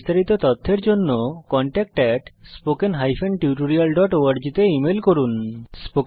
বিস্তারিত তথ্যের জন্য contactspoken tutorialorg তে ইমেল করুন